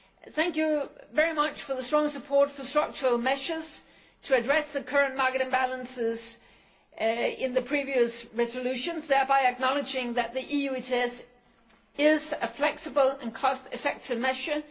Thank you very much for the strong support for structural measures to address the current market imbalances in the previous resolutions, thereby acknowledging that the EU ETS is a flexible and cost effective measure.